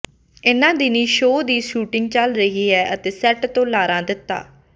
ਇਨ੍ਹਾਂ ਦਿਨੀਂ ਸ਼ੋਅ ਦੀ ਸ਼ੂਟਿੰਗ ਚੱਲ ਰਹੀ ਹੈ ਅਤੇ ਸੈੱਟ ਤੋਂ ਲਾਰਾ ਦੱਤਾ